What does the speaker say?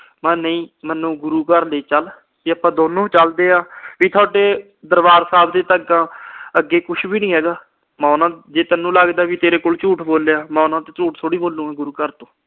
ਮੈਂ ਕਿਹਾ ਨਹੀਂ, ਮੈਨੂੰ ਗੁਰੂ ਘਰ ਲੈ ਚੱਲ। ਵੀ ਆਪਾ ਦੋਨੋਂ ਚੱਲਦੇ ਆ। ਵੀ ਥੋਡੇ ਦਰਬਾਰ ਸਾਹਿਬ ਅੱਗੇ ਤਾਂ ਕੁਛ ਵੀ ਨੀ ਹੈਗਾ। ਮੈਂ ਉਹਨਾਂ ਅਹ ਜੇ ਤੁਹਾਨੂੰ ਲੱਗਦਾ ਤੇਰੇ ਕੋਲ ਝੂਠ ਬੋਲਿਆ, ਮੈਂ ਉਹਨਾਂ ਕੋਲ ਝੂਠ ਥੋੜੀ ਬੋਲੂਗਾ, ਗੁਰੂ ਘਰ।